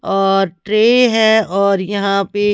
और ट्रे है और यहां पे।